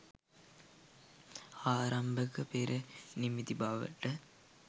ආරම්භක පෙර නිමිති බවට